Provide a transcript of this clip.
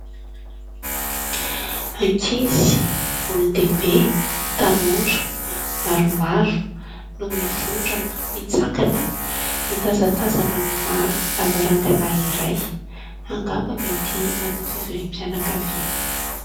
Ankizy, olondehibe, tanora maromaro no mivondrona mitsangana, mitazatazana amina lavarangana iray; angamba mety manao fivoriam-pianankaviana.